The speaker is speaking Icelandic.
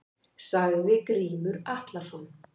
Sagði Grímur Atlason.